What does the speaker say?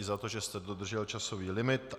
I za to, že jste dodržel časový limit.